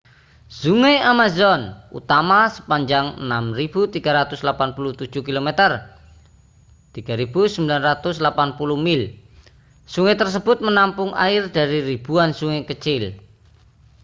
sungai amazon utama sepanjang 6.387 km 3.980 mil. sungai tersebut menampung air dari ribuan sungai kecil